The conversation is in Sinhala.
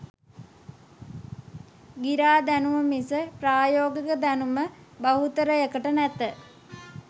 ගිරා දැනුම මිස ප්‍රයෝගික දැනුම බහුතරයකට නැත.